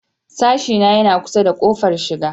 Sashena yana kusa da ƙofar shiga.